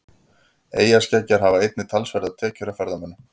Eyjaskeggjar hafa einnig talsverðar tekjur af ferðamönnum.